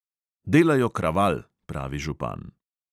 "Delajo kraval," pravi župan.